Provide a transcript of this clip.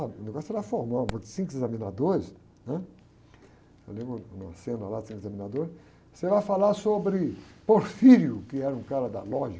Ah, o negócio era formal, porque cinco examinadores, né? Eu lembro uma cena lá, tinha o examinador, você vai falar sobre Porfírio, que era um cara da lógica.